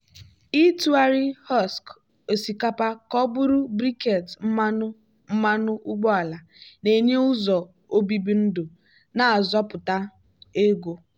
ịtụgharị husk osikapa ka ọ bụrụ briquette mmanụ mmanụ ụgbọala na-enye ụzọ obibi ndụ na-azọpụta ego.